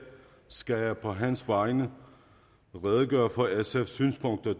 skal jeg på hans vegne redegøre for sfs synspunkter